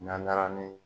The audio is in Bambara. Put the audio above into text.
N'an taara ni